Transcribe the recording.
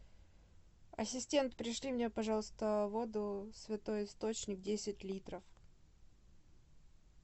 ассистент пришли мне пожалуйста воду святой источник десять литров